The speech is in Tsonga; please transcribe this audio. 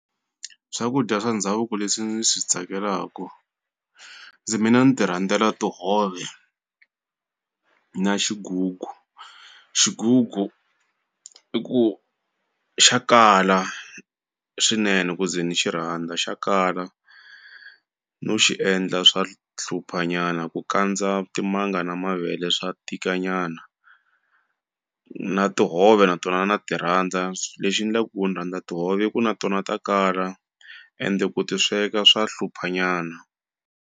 Swakudya swa ndhavuko leswi ndzi swi tsakelaka ndzi mina ni ti rhandzela tihove na xigugu, xigugu i ku xa kala swinene ku ze ni xirhandza xa kala no xi endla swa hlupha nyana ku kandza timanga na mavele swa tika nyana na tihove na tona na ti rhandza lexi ndlaku ku ni rhandza tihove i ku na tona ta kala ende ku ti sweka swa hlupha nyana.